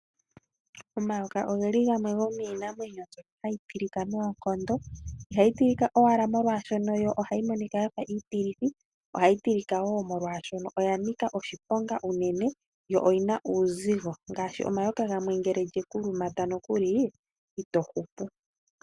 Omayoka ogeli gamwe gomiinamwenyo mbyono hayi tilika noonkondo ihayi tilika owala molwaashono ohaga monika omatilithi ihe ohagi tilika molwaashono oga nika oshiponga unene go ogena uuzigo ngaashi omayoka gamwe ngele lyekulumata ito hupu.